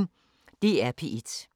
DR P1